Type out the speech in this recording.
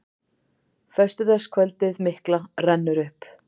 Föstudagskvöldið mikla rennur upp.